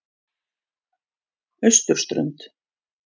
Austurströnd